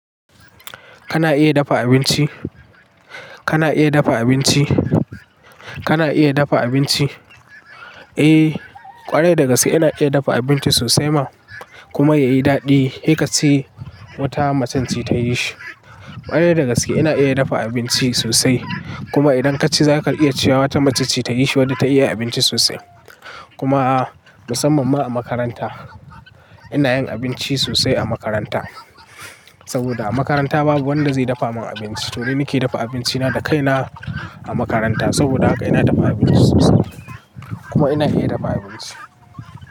Kana iya dafa abinci? Kana iya dafa abinci? Kana iya dafa abinci? Eh, ƙwarai dagaske ina iya dafa abinci sosai ma kuma yayi daɗi. Heka ce wata macen ce ta yi shi. Ƙwari dagaske ina iya dafa abinci sosai. Kuma idan kaci za ka iya cewa wata macce ce ta yi shi wadda ta iya abinci sosai. Kuma musamman ma a makaranta. Ina yin abinci sosai a makaranta. Saboda a makaranta babu wanda zai dafa ma abinci, to ni nake dafa abinci na da kai na a makaranta. Saboda haka ina dafa abinci sosai kuma ina iya dafa abinci.